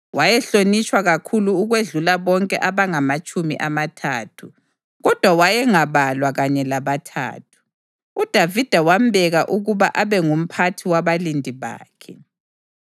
Wayehlonitshwa kakhulu ukwedlula bonke abangamatshumi amathathu, kodwa wayengabalwa kanye labaThathu. UDavida wambeka ukuba abe ngumphathi wabalindi bakhe.